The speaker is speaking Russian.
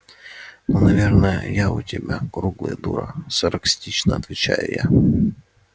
ну наверное я у тебя круглая дура саркастично отвечаю я